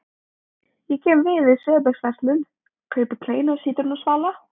Ég kem við í Söebechsverslun, kaupi kleinu og sítrónusvala.